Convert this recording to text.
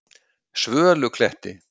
Svölukletti